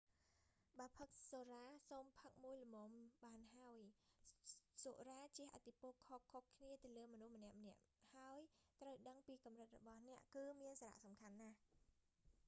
បើផឹកសុរា សូមផឹកមួយល្មមបានហើយ។សុរាជះឥទ្ធិពលខុសៗគ្នាលើមនុស្សម្នាក់ៗ ហើយ ត្រូវដឹងពីកំរិតរបស់អ្នកគឺមានសារៈសំខាន់ណាស់